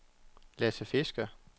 Lasse Fisker